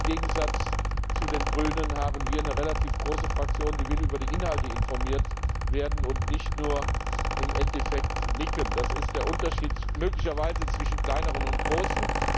Im Gegensatz zu den Grünen haben wir eine relativ große Fraktion, die will über die Inhalte informiert werden und nicht nur im Endeffekt nicken. Das ist möglicherweise der Unterschied zwischen Kleineren und Großen.